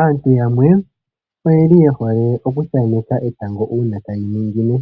Aantu yamwe oye li ye hole okuthaneka etango uuna ta li ningine.